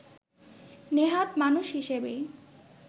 নেহাত মানুষ হিসেবেই